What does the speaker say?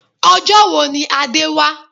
Ọjọ́ wo ni Adé wá?